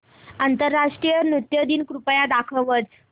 आंतरराष्ट्रीय नृत्य दिन कृपया दाखवच